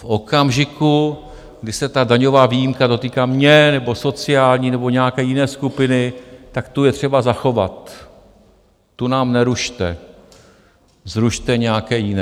V okamžiku, kdy se ta daňová výjimka dotýká mě nebo sociální nebo nějaké jiné skupiny, tak tu je třeba zachovat, tu nám nerušte, zrušte nějaké jiné.